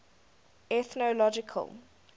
ethnological